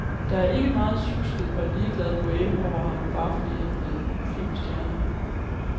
Der er ikke meget sjusket og ligeglad boheme over ham, bare fordi han er blevet filmstjerne.